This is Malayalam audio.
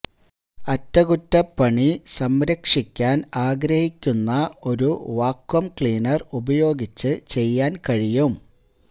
അറ്റകുറ്റപ്പണി ന് സംരക്ഷിക്കാൻ ആഗ്രഹിക്കുന്ന ഒരു വാക്വം ക്ലീനർ ഉപയോഗിച്ച് ചെയ്യാൻ കഴിയും